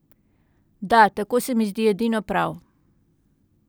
Da, tako se mi zdi edino prav.